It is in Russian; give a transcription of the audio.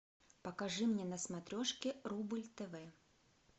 покажи мне на смотрешке рубль тв